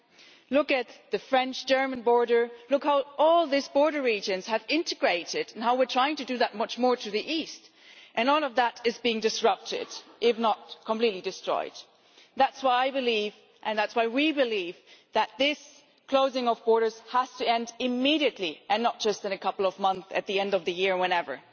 Then look at the French German border, and look at how all these border regions have integrated and how we are trying to do that much more to the East, and all of that is being disrupted if not completely destroyed. That is why I believe, and that is why we believe, that this closing of borders has to end immediately and not just in a couple of months, at the end of the year, or whenever.